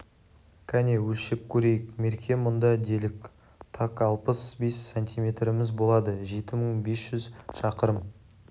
кәне өлшеп көрейік мерке мұнда делік так алпыс бес сантиметріміз болады жеті мың бес жүз шақырым